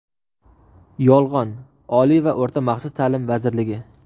yolg‘on — Oliy va o‘rta maxsus taʼlim vazirligi.